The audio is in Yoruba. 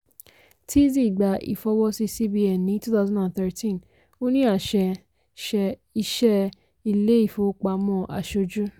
teasy gba ifọ́wọ́si cbn ní two thousand and thirteen ó ní àṣẹ ṣẹ́ iṣẹ́ ilé-ìfowópamọ́ aṣojú.